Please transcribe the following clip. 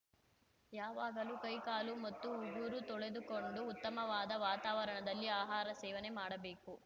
ಯಾವಾಗಲು ಕೈಕಾಲು ಮತ್ತು ಉಗುರು ತೊಳೆದುಕೊಂಡು ಉತ್ತಮವಾದ ವಾತಾವರಣದಲ್ಲಿ ಆಹಾರ ಸೇವನೆ ಮಾಡಬೇಕು